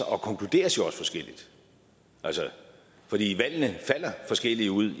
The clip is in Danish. og konkluderes jo også forskelligt fordi valgene falder forskelligt ud